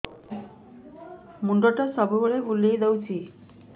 ମୁଣ୍ଡଟା ସବୁବେଳେ ବୁଲେଇ ଦଉଛି